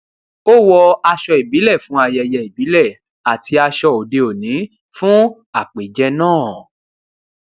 ó wọ aṣọ ìbílẹ fún ayẹyẹ ìbílẹ àti aṣọ òdeòní fún àpèjẹ náà